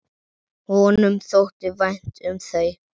Honum þótti vænt um þau.